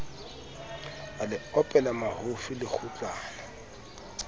a le opela mahofi lekgutlana